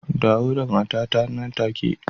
Dawo da motata nan take